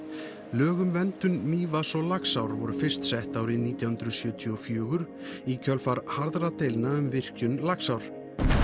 lög um verndun Mývatns og Laxár voru fyrst sett árið nítján hundruð sjötíu og fjögur í kjölfar harðra deilna um virkjun Laxár